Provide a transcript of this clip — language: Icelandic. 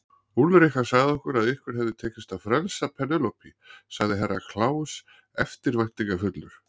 Úlrika sagði okkur að ykkur hafi tekist að frelsa Penélope, sagði Herra Kláus eftirbæntingafullur.